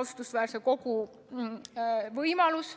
austusväärse kogu võimalus.